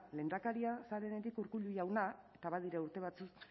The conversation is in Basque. lehendakaria zarenetik urkullu jauna eta badira urte batzuk